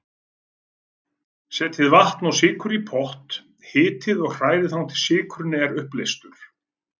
Setjið vatn og sykur í pott, hitið og hrærið þangað til sykurinn er uppleystur.